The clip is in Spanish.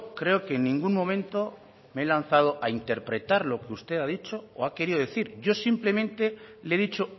creo que en ningún momento me he lanzado a interpretar lo que usted ha dicho o ha querido decir yo simplemente le he dicho